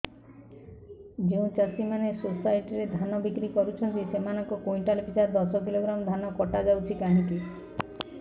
ଯେଉଁ ଚାଷୀ ମାନେ ସୋସାଇଟି ରେ ଧାନ ବିକ୍ରି କରୁଛନ୍ତି ସେମାନଙ୍କର କୁଇଣ୍ଟାଲ ପିଛା ଦଶ କିଲୋଗ୍ରାମ ଧାନ କଟା ଯାଉଛି କାହିଁକି